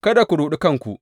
Kada ku ruɗi kanku.